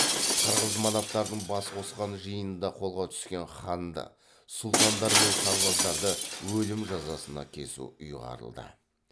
қырғыз манаптарының бас қосқан жиынында қолға түскен ханды сұлтандар мен сарбаздарды өлім жазасына кесу ұйғарылды